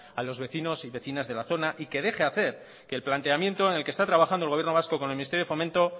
a los vecinos y vecinas de la zona y que deje hacer que el planteamiento en el que está trabajando el gobierno vasco con el ministerio de fomento